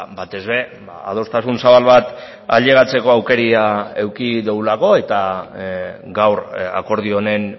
batez ere adostasun zabal bat ailegatzeko aukera eduki dugulako eta gaur akordio honen